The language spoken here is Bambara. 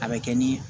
A bɛ kɛ ni